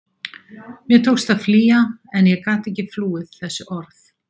Mér tókst að flýja en ég gat ekki flúið þessi orð.